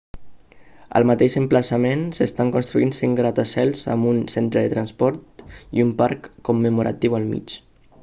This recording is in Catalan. al mateix emplaçament s'estan construint cinc gratacels amb un centre de transports i un parc commemoratiu al mig